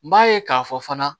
N b'a ye k'a fɔ fana